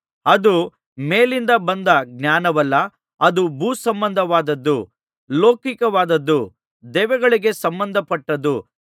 ಅದು ಮೇಲಿಂದ ಬಂದ ಜ್ಞಾನವಲ್ಲ ಅದು ಭೂಸಂಬಂಧವಾದದ್ದು ಲೌಕಿಕವಾದುದು ದೆವ್ವಗಳಿಗೆ ಸಂಬಂಧಪಟ್ಟದ್ದು